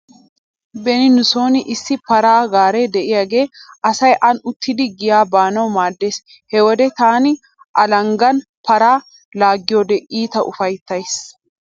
Beni nu sooni issi paraa gaaree diyagee asay aani uttidi giya baanawu maaddees. He wode taani alanggan paraa laaggiyode iita ufayttays.